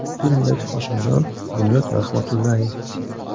Filmdagi Hoshimjon - Bunyod Rahmatullayev.